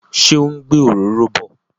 Ṣé ó ń gbé òróró bọ?